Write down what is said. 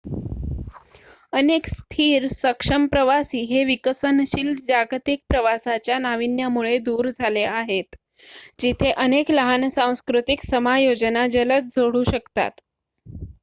अनेक स्थिर सक्षम प्रवासी हे विकसनशील जागतिक प्रवासाच्या नावीन्यामुळे दूर झाले आहेत जिथे अनेक लहान सांस्कृतिक समायोजना जलद जोडू शकतात